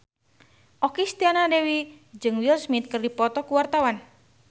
Okky Setiana Dewi jeung Will Smith keur dipoto ku wartawan